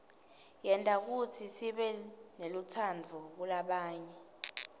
yenta kutsi sibenelutsaadvu kulabanye